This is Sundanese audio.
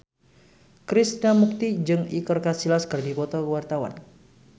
Krishna Mukti jeung Iker Casillas keur dipoto ku wartawan